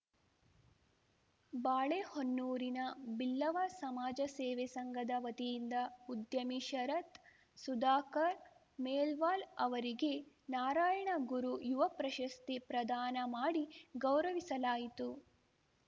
ಬಾಳೆಹೊನ್ನೂರಿನ ಬಿಲ್ಲವ ಸಮಾಜ ಸೇವೆ ಸಂಘದ ವತಿಯಿಂದ ಉದ್ಯಮಿ ಶರತ್‌ ಸುಧಾಕರ್‌ ಮೇಲ್ಪಾಲ್‌ ಅವರಿಗೆ ನಾರಾಯಣಗುರು ಯುವ ಪ್ರಶಸ್ತಿ ಪ್ರದಾನ ಮಾಡಿ ಗೌರವಿಸಲಾಯಿತು